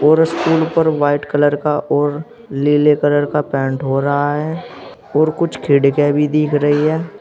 और इस स्कूल पर व्हाइट कलर का और नीले कलर का पेंट हो रहा है और कुछ खिड़कियां भी दिख रही हैं।